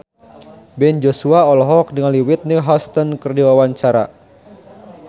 Ben Joshua olohok ningali Whitney Houston keur diwawancara